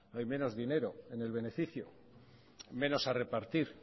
hay menos dinero en el beneficio menos a repartir